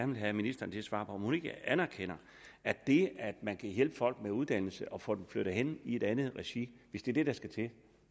vil have ministeren til at svare på om hun ikke anerkender at det at hjælpe folk med uddannelse og få dem flyttet hen i et andet regi hvis det er det der skal til